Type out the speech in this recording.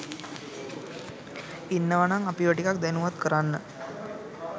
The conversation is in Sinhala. ඉන්නවනං අපිව ටිකක් දැනුවත් කරන්න